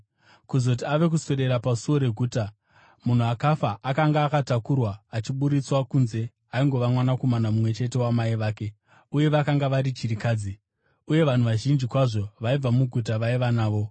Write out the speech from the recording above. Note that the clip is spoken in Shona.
Kuzoti ave kuswedera pasuo reguta, munhu akafa akanga akatakurwa achiburitswa kunze, aingova mwanakomana mumwe chete wamai vake, uye vakanga vari chirikadzi. Uye vanhu vazhinji kwazvo vaibva muguta vaiva navo.